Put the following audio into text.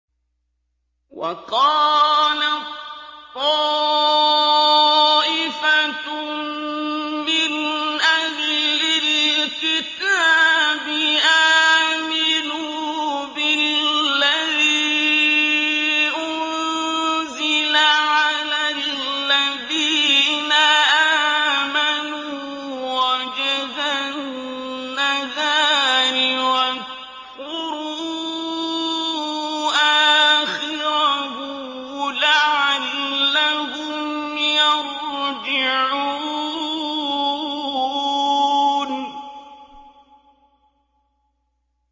وَقَالَت طَّائِفَةٌ مِّنْ أَهْلِ الْكِتَابِ آمِنُوا بِالَّذِي أُنزِلَ عَلَى الَّذِينَ آمَنُوا وَجْهَ النَّهَارِ وَاكْفُرُوا آخِرَهُ لَعَلَّهُمْ يَرْجِعُونَ